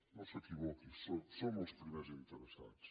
no s’equivoqui som els primers interessats